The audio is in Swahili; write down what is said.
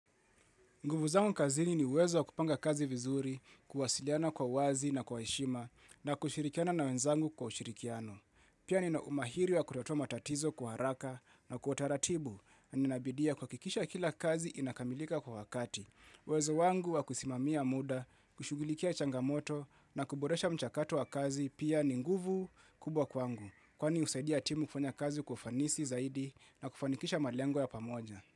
Nguvu zangu kazini ni uwezo wa kupanga kazi vizuri, kuwasiliana kwa uwazi na kwa heshima na kushirikiana na wenzangu kwa ushirikiano. Pia nina umahiri wa kutatua matatizo kwa haraka na kwa utaratibu, na ninabidia kuhakikisha kila kazi inakamilika kwa wakati. Uwezo wangu wa kusimamia mda, kushughulikia changamoto na kuboresha mchakato wa kazi pia ni nguvu kubwa kwangu. Kwani husaidia timu kufanya kazi kwa ufanisi zaidi na kufanikisha malengo ya pamoja.